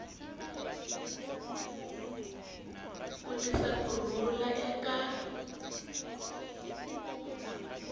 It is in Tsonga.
ku tisa ku rhula eka